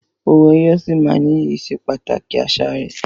Owó ẹyọ sì máa ní iyì ìsepàtàkì àṣà rẹ.